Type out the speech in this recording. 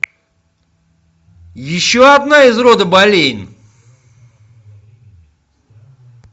еще одна из рода болейн